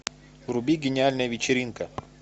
вруби гениальная вечеринка